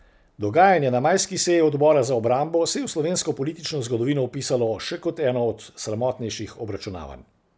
Dogajanje na majski seji odbora za obrambo se je v slovesnko politično zgodovino vpisalo še kot eno od sramotnejših obračunavanj.